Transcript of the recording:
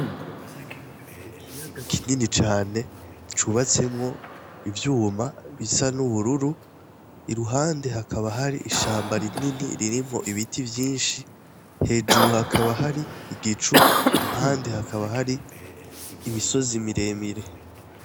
M ikiyaga kinini cane cubatsemwo ivyuma bisa n'ubururu iruhande hakaba hari ishamba rinini ririmwo ibiti vyinshi hejuru hakaba hari igicu impande hakaba hari imisozi miremire.